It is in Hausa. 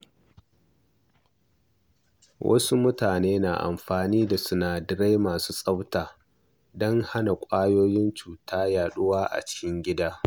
Wasu mutane na amfani da sinadarai masu tsafta don hana ƙwayoyin cuta yaɗuwa a cikin gida.